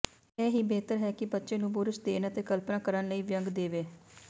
ਇਹ ਵੀ ਬਿਹਤਰ ਹੈ ਕਿ ਬੱਚੇ ਨੂੰ ਬੁਰਸ਼ ਦੇਣ ਅਤੇ ਕਲਪਨਾ ਕਰਨ ਲਈ ਵਿਅੰਗ ਦੇਵੇ